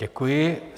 Děkuji.